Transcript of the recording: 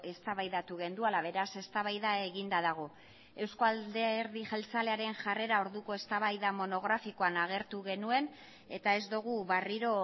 eztabaidatu genuela beraz eztabaida eginda dago eusko alderdi jeltzalearen jarrera orduko eztabaida monografikoan agertu genuen eta ez dugu berriro